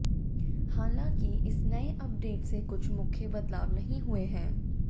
हालाँकि इस नए अपडेट से कुछ मुख्य बदलाव नहीं हुए हैं